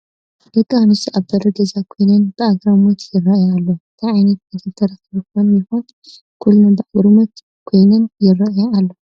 ደቂ ኣንስትዮ ኣብ በሪ ገዛ ኮይነን ብኣግራሞት ይርአያ ኣለዋ፡፡ ታይ ዓይነት ነገር ተረኺቡ ኾን ይኾን ኩለን ብኣግራሞት ኮይነን ይርአያ ዘለዋ?